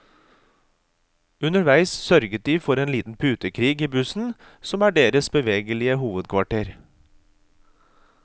Underveis sørger de for en liten putekrig i bussen som er deres bevegelige hovedkvarter.